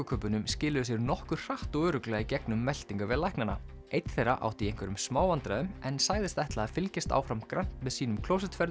kubbunum skiluðu sér nokkuð hratt og örugglega í gegnum meltingarveg læknanna einn þeirra átti í einhverjum smá vandræðum en sagðist ætla að fylgjast áfram grannt með sínum